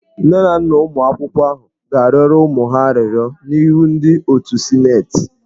Nne na nna ụmụ akwụkwọ ahụ ga-arịọrọ ụmụ ha arịrịọ n'ihu ndị otu sịnetị.